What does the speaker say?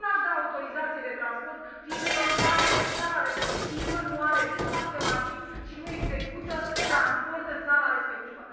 Eu nu aș da autorizație de transport firmelor care în țara respectivă nu au nici parc de mașini și nu execută transport în țara respectivă.